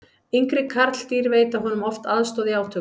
yngri karldýr veita honum oft aðstoð í átökum